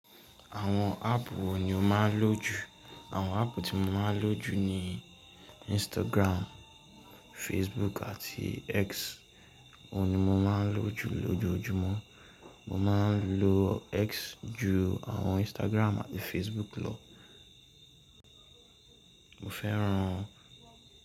Àwọn app wò ni o máa ń lò jù? Àwọn app tí mo máa ń lò jù ni Instagram, Facebook àti X. Òun ni mọ máa ń lò jù lójoojúmọ́. Mọ máa ń lò X jù àwọn Instagram àti Facebook lọ. Mọ fẹ́ran.